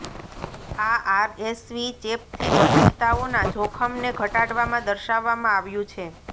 આ આરએસવી ચેપથી જટિલતાઓના જોખમને ઘટાડવામાં દર્શાવવામાં આવ્યું છે